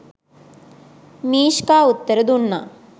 " Mishka උත්තර දුන්නා.